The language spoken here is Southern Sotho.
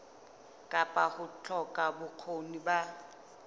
kapa ho hloka bokgoni ba